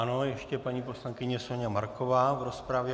Ano, ještě paní poslankyně Soňa Marková v rozpravě.